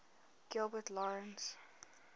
gilbert lawrence